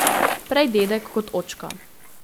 Prej dedek kot očka.